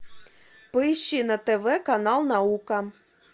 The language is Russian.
поищи на тв канал наука